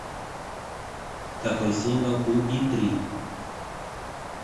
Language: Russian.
какой символ у иттрий